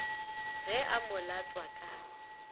ge a mo latswa ka